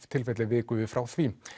tilfelli vikum við frá því